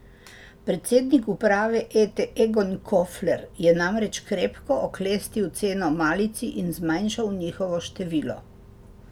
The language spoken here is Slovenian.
Predsednik uprave Ete Egon Kofler je namreč krepko oklestil ceno malici in zmanjšal njihovo število.